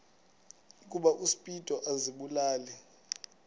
ukuba uspido azibulale